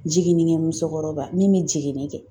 Jiginnikɛ musokɔrɔba min bɛ jiginni kɛ.